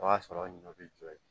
O y'a sɔrɔ ɲɔ bɛ jɔ yen